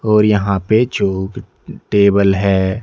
और यहां पे चोग टेबल है।